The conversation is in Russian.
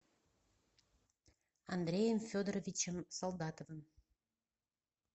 андреем федоровичем солдатовым